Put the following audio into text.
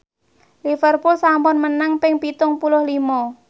Liverpool sampun menang ping pitung puluh lima